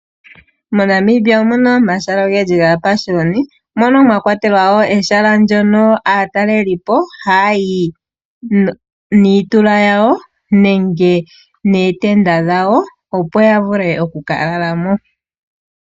MoNamibia omu na omahala ogendji gaapashiyoni mono mwa kwatelwa wo ehala ndyono aatalelipo ha ya yi nootenda dhawo opo ya vule oku ka lala mo.